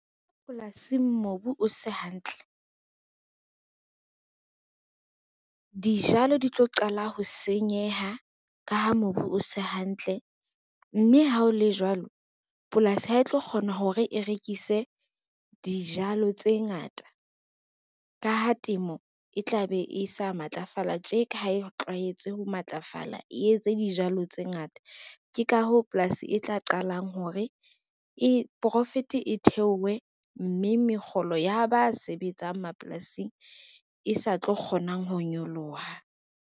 Polasing mobu o se hantle, dijalo di tlo qala ho senyeha ka ha mobu o se hantle mme ha ho le jwalo, polasi ha e tlo kgona hore e rekise dijalo tse ngata ka ha temo e tla be e sa matlafala tjeka, ha e tlwaetse ho matlafala, e etse dijalo tse ngata. Ke ka hoo polasi e tla qalang hore profit e theowe mme mekgolo ya ba sebetsang mapolasing e sa tlo kgonang ho nyoloha.